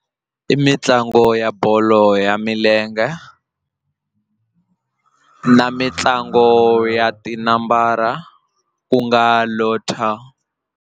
I mitlangu ya bolo ya milenge na mitlango ya tinambara ku nga Lotto.